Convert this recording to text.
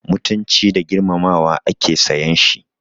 Mutunci da girmamawa ake sayan shi.